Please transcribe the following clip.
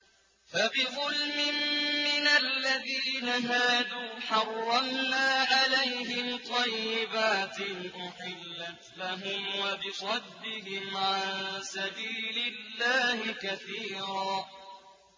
فَبِظُلْمٍ مِّنَ الَّذِينَ هَادُوا حَرَّمْنَا عَلَيْهِمْ طَيِّبَاتٍ أُحِلَّتْ لَهُمْ وَبِصَدِّهِمْ عَن سَبِيلِ اللَّهِ كَثِيرًا